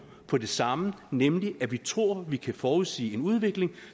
på det samme nemlig at vi tror at vi kan forudsige en udvikling